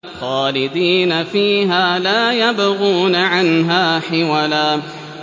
خَالِدِينَ فِيهَا لَا يَبْغُونَ عَنْهَا حِوَلًا